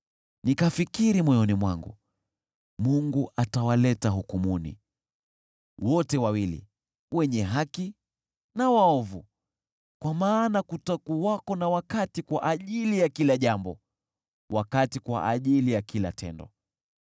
Nikafikiri moyoni mwangu, “Mungu atawaleta hukumuni wote wawili wenye haki na waovu, kwa maana kutakuwako na wakati kwa ajili ya kila jambo, wakati kwa ajili ya kila tendo.”